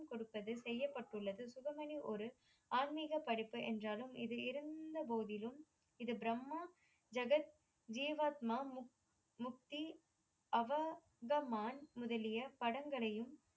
கொடுத்தது செய்யப்பட்யுள்ளது ஒரு ஆன்மீக படிப்பு என்றாலும் இதில் இருந்தபோதிலும் இது பிரம்மா ஜக ஜீவாத்மா முக்தி அவகவான் முதலிய படங்களையும்